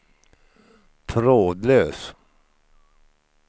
trådlös